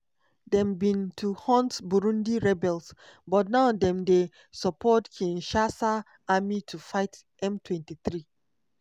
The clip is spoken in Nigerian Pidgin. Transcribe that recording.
dem bin to hunt burundi rebels but now dem dey support kinshasa army to fight m23.